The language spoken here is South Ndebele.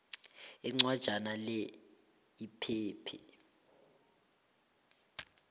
incwajana le iphethe